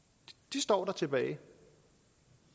står tilbage